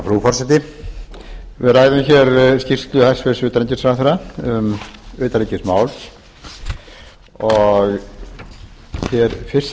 frú forseti við ræðum hér skýrslu hæstvirts utanríkisráðherra um utanríkismál og hér fyrst